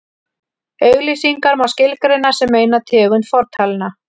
auglýsingar má skilgreina sem eina tegund fortalna